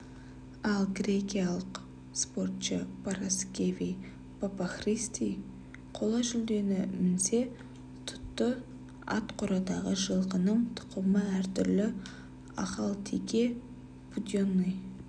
ал грекиялық спортшы параскеви папахристу қола жүлдені місе тұтты ат қорадағы жылқының тұқымы әртүрлі ахалтеке буденный